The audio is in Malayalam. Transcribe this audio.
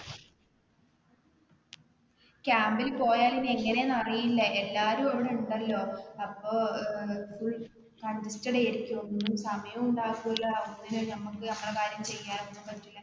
camp ൽ പോയാലും എങ്ങനെ ആണ് എന്ന് അറിയില്ല, എല്ലാവരും അവരെ ഉണ്ടല്ലോ അപ്പൊ full congested ആയിരിക്കും ഒന്നിനും സമയോം ഉണ്ടാകുല ഒന്നിനും നമുക്ക് നമ്മുടെ കാര്യം ഒന്നും ചെയ്യാൻ ഒന്നും പറ്റൂല.